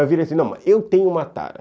Eu virei assim, não, eu tenho uma tara.